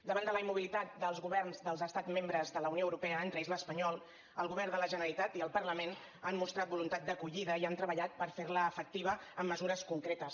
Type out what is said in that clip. davant de la immobilitat dels governs dels estats membres de la unió europea entre ells l’espanyol el govern de la generalitat i el parlament han mostrat voluntat d’acollida i han treballat per fer la efectiva amb mesures concretes